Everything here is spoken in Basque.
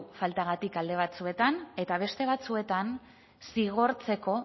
faltagatik alde batzuetan eta beste batzuetan zigortzeko